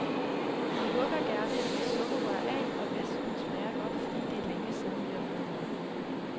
De hugger gerne et par sukkerrør af og væsken smager godt, fordi det er længe siden, vi har fået mad.